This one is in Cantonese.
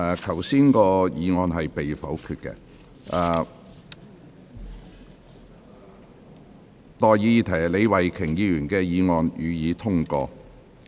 我現在向各位提出的待議議題是：李慧琼議員動議的議案，予以通過。